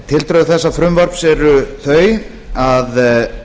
tildrög þessa frumvarps eru þau að